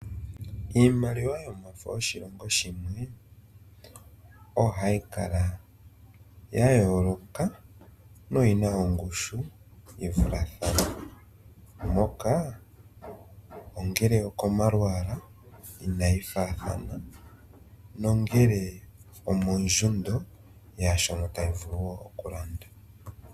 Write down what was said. Iimaliwa yomafo yoshilongo shimwe ohayi kala ya yooloka no yina ongushu yivulathane. Oya yooloka komalwaala nomondjundo yaashono tayi vulu okulanda.